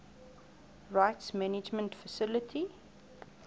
rights management facility